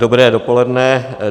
Dobré dopoledne.